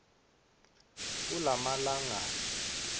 kulamalangana